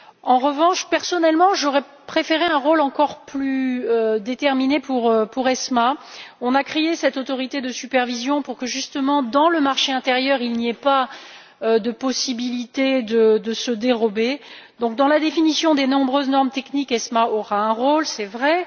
En revanche, personnellement, j'aurais préféré un rôle encore plus déterminé pour ESMA. On a créé cette autorité de supervision pour que, justement, dans le marché intérieur, il ne soit pas possible de se dérober. Donc, dans la définition des nombreuses normes techniques, ESMA aura un rôle, c'est vrai.